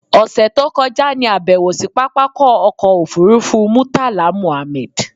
ọ̀ṣẹ̀ tó kọjá ní àbẹ̀wò sí pápákọ̀ ọkọ̀ òfurufú Murtala Mohammed.